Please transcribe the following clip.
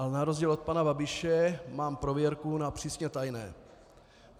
Ale na rozdíl od pana Babiše mám prověrku na přísně tajné.